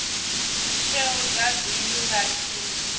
tsheo dza bindu vha tshi